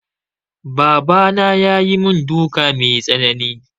Baba na ya yi mun duka mai tsanani